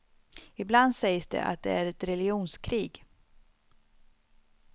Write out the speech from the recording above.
Ibland sägs det att det är ett religionskrig.